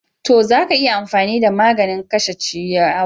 To, za ka iya amfani da maganin kashe ciyawar.